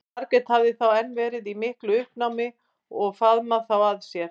Margrét hafði þá enn verið í miklu uppnámi og faðmað þá að sér.